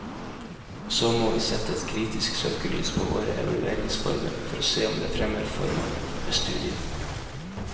Og så må vi sette et kritisk søkelys på våre evalueringsformer, for å se om de fremmer formålet med studiet.